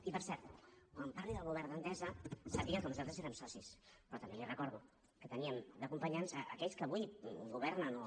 i per cert quan parli del govern d’entesa sàpiga que nosaltres érem socis però també li recordo que teníem d’acompanyants aquells que avui governen o